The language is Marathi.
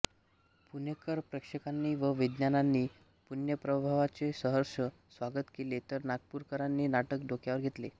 पुणेकर प्रेक्षकांनी व विद्वानांनी पुण्यप्रभावचे सहर्ष स्वागत केले तर नागपूरकरांनी नाटक डोक्यावर घेतले